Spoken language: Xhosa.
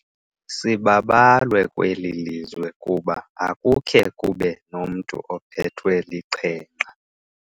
Sibabalwe kweli lizwe kuba akukhe kube nomntu ophethwe liqhenqa.